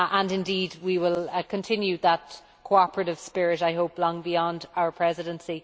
Indeed we will continue in that cooperative spirit, I hope, long beyond our Presidency.